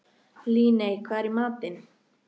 Líney, hvað er í matinn?